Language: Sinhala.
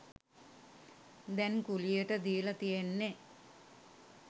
දැන් කුලියට දීල තියෙන්නෙ